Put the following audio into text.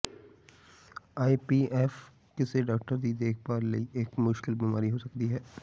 ਆਈ P F ਕਿਸੇ doctor ਦੀ ਦੇਖਭਾਲ ਲਈ ਇੱਕ ਮੁਸ਼ਕਲ ਬਿਮਾਰੀ ਹੋ ਸਕਦੀ ਹੈ